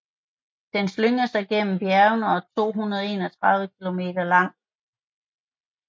Den slynger sig gennem bjergene og er 231 km lang